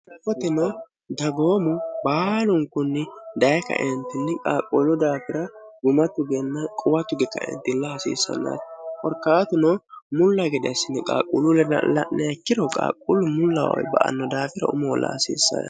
foteno dagoomu baalunkunni dayi kaentinli qaaqquulu daafira gumattu genna quwatug kaentill haasiissannati horkaatuno mulla gede assini qaaqquulu lela'neekkiro qaaqquullu mullawayi ba anno daafira umoolla haasiissae